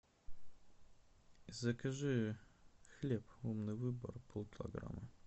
закажи хлеб умный выбор полкилограмма